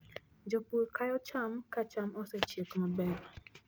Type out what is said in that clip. Jopur kayo cham ka cham osechiek maber.